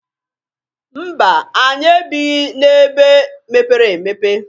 Mba! Anyị ebighi n'ebe mepere emepe.